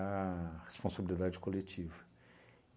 a responsabilidade coletiva.